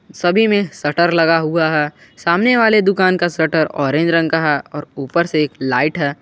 सभी में शटर लगा हुआ है सामने वाले दुकान का शटर ऑरेंज रंग का है और ऊपर से एक लाइट है।